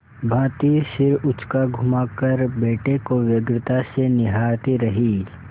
भाँति सिर उचकाघुमाकर बेटे को व्यग्रता से निहारती रही